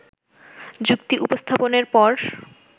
যুক্তি উপস্থাপনের পর